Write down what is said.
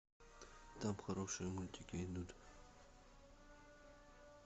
там хорошие мультики идут